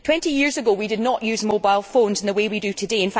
Twenty years ago we did not use mobile phones in the way we do today